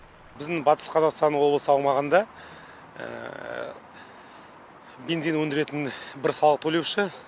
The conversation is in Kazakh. біздің батыс қазақстан облысы аумағында бензин өндіретін бір салық төлеуші